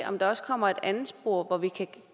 om der også kommer et andet spor hvor vi kan